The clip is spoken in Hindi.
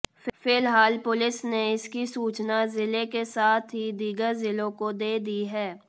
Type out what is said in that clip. फिलहाल पुलिस ने इसकी सूचना जिले के साथ ही दीगर जिलों को दे दी है